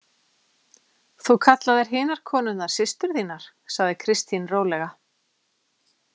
Þú kallaðir hinar konurnar systur þínar, sagði Kristín rólega.